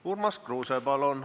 Urmas Kruuse, palun!